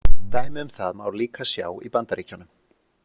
Dæmi um það má líka sjá í Bandaríkjunum.